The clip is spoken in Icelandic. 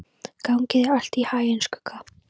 Gangi þér allt í haginn, Skugga.